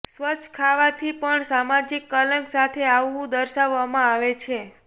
સ્વચ્છ ખાવાથી પણ સામાજિક કલંક સાથે આવવું દર્શાવવામાં આવે છે